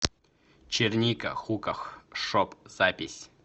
черника хуках шоп запись